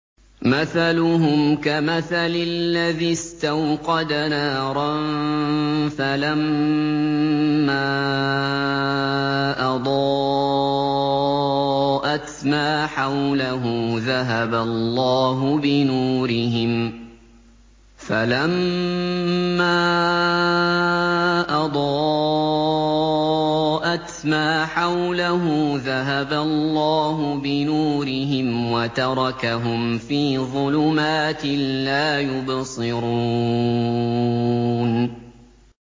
مَثَلُهُمْ كَمَثَلِ الَّذِي اسْتَوْقَدَ نَارًا فَلَمَّا أَضَاءَتْ مَا حَوْلَهُ ذَهَبَ اللَّهُ بِنُورِهِمْ وَتَرَكَهُمْ فِي ظُلُمَاتٍ لَّا يُبْصِرُونَ